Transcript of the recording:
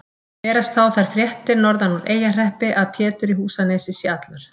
Berast þá þær fréttir norðan úr Eyjahreppi að Pétur í Húsanesi sé allur.